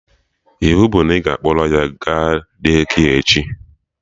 Iwu bụ na ị ga-akpọrọ ya ga Daycare echi!